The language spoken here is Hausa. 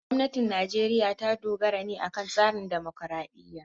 Gwamnatin Najeriya ta dogara ne akan tsarin dimokuradiyya.